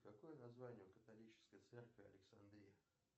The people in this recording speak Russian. какое название у католической церкви александрия